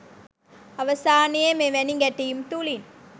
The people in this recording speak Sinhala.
අවසානයේ මෙවැනි ගැටීම් තුලින්